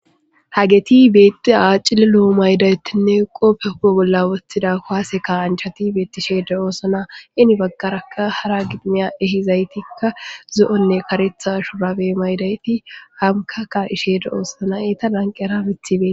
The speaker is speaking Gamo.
hageti beetiya cililo mayidayitinne qoppe hue bolla wotida kuwase ka anchati beetisheeda oosona hen baggaraka hara giximiya ehizaytikka zo'onne karetha shube mayidayti hamkakka isheeda oosona eta lanqera mithibee